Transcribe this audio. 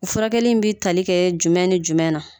O furakɛli in bɛ tali kɛ jumɛn ni jumɛn na